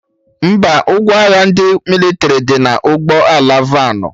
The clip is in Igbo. Mba, ngwa agha ndị mịlịtrị dị na ụgbọ ala vanụ